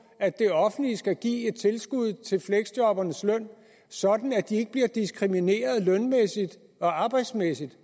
at det offentlige skal give et tilskud til fleksjobbernes løn sådan at de ikke bliver diskrimineret lønmæssigt og arbejdsmæssigt